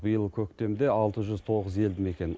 биыл көктемде алты жүз тоғыз елді мекен